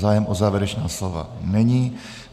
Zájem o závěrečná slova není.